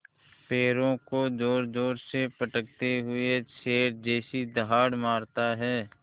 पैरों को ज़ोरज़ोर से पटकते हुए शेर जैसी दहाड़ मारता है